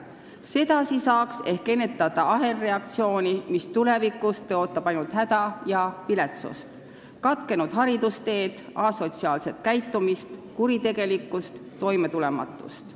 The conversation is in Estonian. Sedasi saaks ehk ennetada ahelreaktsiooni, mis tulevikus tõotab ainult häda ja viletsust: katkenud haridusteed, asotsiaalset käitumist, kuritegelikkust, toimetulematust.